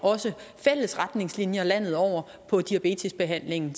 fælles retningslinjer landet over for diabetesbehandlingen